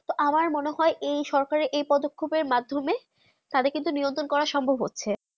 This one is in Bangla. আমার মনে হয়ে যে সরকারে যে পদক মাধ্যমে তা দের কিন্তু নিরন্তর করা সম্ভব হচ্ছে